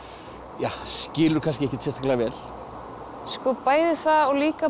ja skilur kannski ekkert sérstaklega vel sko bæði það og líka